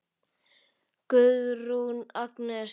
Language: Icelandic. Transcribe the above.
Guðrún Agnes.